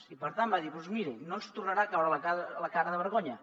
i per tant vaig dir doncs miri no ens tornarà a caure la cara de vergonya